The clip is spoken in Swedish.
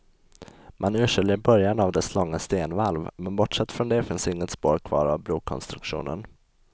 Man urskiljer början av dess långa stenvalv, men bortsett från det finns inget spår kvar av brokonstruktionen.